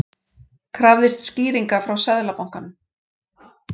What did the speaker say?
Krafðist skýringa frá Seðlabankanum